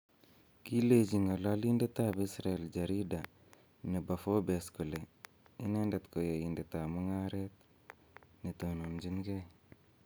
Kilenji ng'ololindetab Isabel Jarida nebo Forbes kole, inendet ko yaindetab mung'aret ne tononchingei